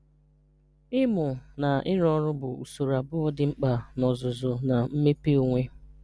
Ịmụ na ịrụ ọrụ bụ usoro abụọ dị mkpa na ọzụzụ na mmepe onwe.